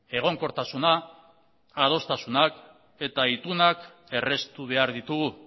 egonkortasuna adostasunak eta itunak erraztu behar ditugu